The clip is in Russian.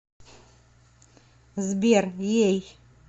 сбер ей